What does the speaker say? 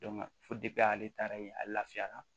fo ale taara yen ale lafiyara